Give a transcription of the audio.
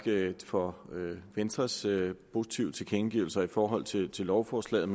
for venstres positive tilkendegivelser i forhold til lovforslaget